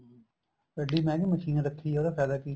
ਇੱਡੀ ਮਹਿੰਗੀ ਮਸ਼ੀਨ ਰੱਖੀ ਏ ਉਹਦਾ ਫਾਇਦਾ ਕੀ